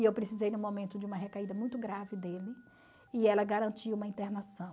E eu precisei no momento de uma recaída muito grave dele e ela garantiu uma internação.